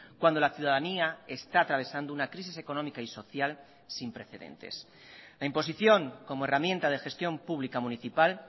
cuando la ciudadanía está atravesando una crisis económica y social sin precedentes la imposición como herramienta de gestión pública municipal